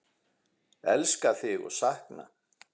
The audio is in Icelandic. Elska þig og sakna!